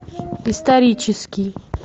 исторический